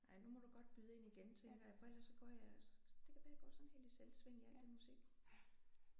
Ej nu må du godt byde ind igen tænker jeg for ellers så går jeg det kan være jeg går sådan helt i selvsving i alt det musik